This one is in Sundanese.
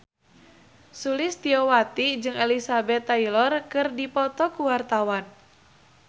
Sulistyowati jeung Elizabeth Taylor keur dipoto ku wartawan